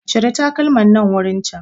Cire takalman nan wurin can